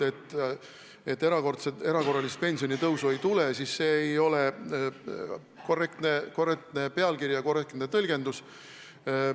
See, et erakorralist pensionitõusu ei tule, ei ole korrektne pealkiri ega korrektne tõlgendus.